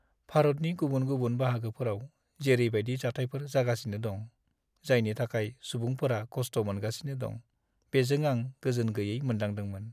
भारतनि गुबुन-गुबुन बाहागोफोराव जेरै बायदि जाथायफोर जागासिनो दं, जायनि थाखाय सुबुंफोरा खस्थ मोनगासिनो दं, बेजों आं गोजोन गैयै मोनदांदोंमोन।